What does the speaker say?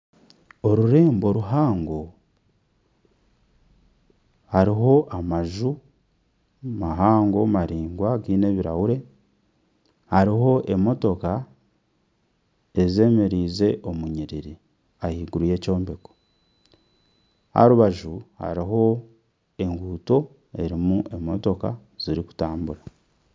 Orurembo ruhango harimu amaju mahango maraingwa gaine ebirahure hariho emotoka ezeemererize omu nyiriari ahaiguru y'ekyombeko aha rubaju hariho enguuto erimu emotoka zirikutambura